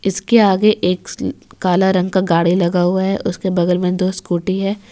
इसके आगे एक काला रंग का गाड़ी लगा हुआ है उसके बगल में दो स्कूटी है।